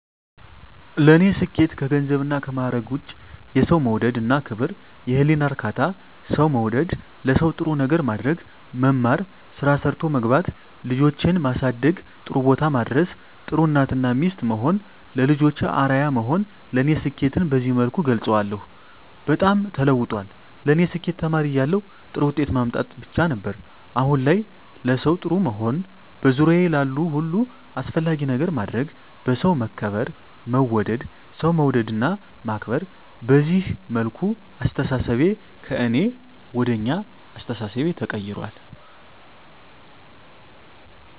ለኔ ስኬት ከገንዘብና ከማዕረግ ውጭ የሠው መውደድ እና ክብር፤ የህሊና እርካታ፤ ሠው መውደድ፤ ለሠው ጥሩ ነገር ማድረግ፤ መማር፤ ስራ ሠርቶ መግባት፤ ልጆቼን ማሠደግ ጥሩቦታ ማድረስ፤ ጥሩ እናት እና ሚስት መሆን፤ ለልጆቼ አርያ መሆን ለኔ ስኬትን በዚህ መልኩ እገልፀዋለሁ። በጣም ተለውጧል ለኔ ስኬት ተማሪ እያለሁ ጥሩ ውጤት ማምጣት ብቻ ነበር። አሁን ላይ ለሠው ጥሩ መሆን፤ በዙሪያዬ ላሉ ሁሉ አስፈላጊ ነገር ማድረግ፤ በሠው መከበር መወደድ፤ ሠው መውደድ እና ማክበር፤ በዚህ መልኩ አስተሣሠቤ ከእኔ ወደ አኛ አስተሣሠቤ ተቀይራል።